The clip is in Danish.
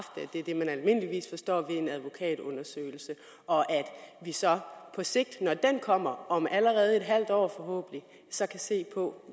det er det man almindeligvis forstår ved en advokatundersøgelse og at vi så på sigt når den kommer om allerede et halvt år så kan se på